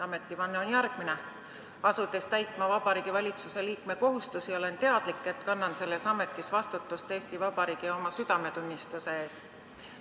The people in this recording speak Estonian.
Ametivanne on järgmine: "Asudes täitma Vabariigi Valitsuse liikme kohustusi, olen teadlik, et kannan selles ametis vastutust Eesti Vabariigi ja oma südametunnistuse ees.